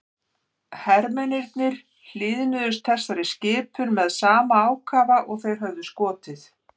Hermennirnir hlýðnuðust þessari skipun með sama ákafa og þeir höfðu skotið.